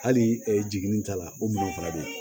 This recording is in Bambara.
Hali jiginin t'a la o minɛnw fana bɛ